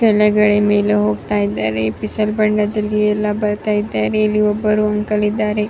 ಕೆಳಗಡೆ ಮೇಲೇ ಹೋಗ್ತಾ ಇದಾರೆ ಇಲ್ಲಿ ಒಬ್ಬರು ಅಂಕಲ್ ಇದಾರೆ .